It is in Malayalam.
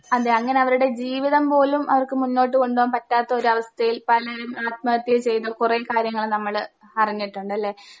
അതെ അങ്ങനെ അവരുടെ ജീവിതം പോലും അവർക്ക് മുന്നോട്ടു കൊണ്ടോകാൻ പറ്റാത്തൊരവസ്ഥയിൽ പലരും ആത്മഹത്യ ചെയ്തു കൊറേ കാര്യങ്ങള് നമ്മള് അറിഞ്ഞിട്ടൊണ്ടല്ലേ?